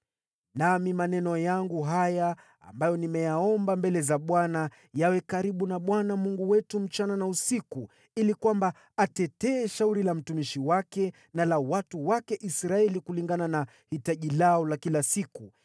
Nami maneno yangu haya, ambayo nimeyaomba mbele za Bwana , yawe karibu na Bwana Mungu wetu usiku na mchana, ili kwamba atetee shauri la mtumishi wake na la watu wake Israeli kulingana na hitaji lao la kila siku,